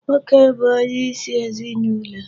Nwoke bụ onyeisi ezinụlọ.